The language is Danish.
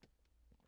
TV 2